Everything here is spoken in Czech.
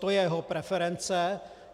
To je jeho preference.